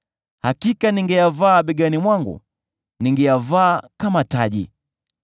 Hakika ningeyavaa begani mwangu, ningeyavaa kama taji.